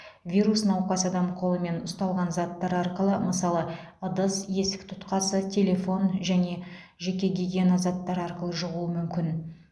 вирус науқас адам қолымен ұстаған заттар арқылы мысалы ыдыс есік тұтқасы телефон және жеке гигиена заттары арқылы жұғуы мүмкін